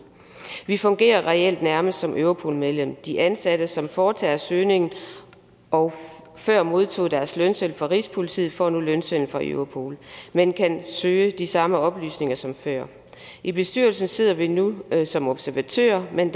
vi fungerer reelt nærmest som europol medlem de ansatte som foretager søgningerne og før modtog deres lønseddel fra rigspolitiet får nu lønsedlen fra europol man kan søge de samme oplysninger som før i bestyrelsen sidder vi nu som observatører men